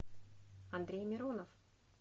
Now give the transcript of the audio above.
андрей миронов